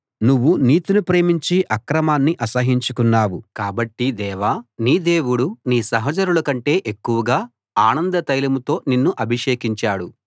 నువ్వు నీతిని ప్రేమించి అక్రమాన్ని అసహ్యించుకున్నావు కాబట్టి దేవా నీ దేవుడు నీ సహచరుల కంటే ఎక్కువగా ఆనంద తైలంతో నిన్ను అభిషేకించాడు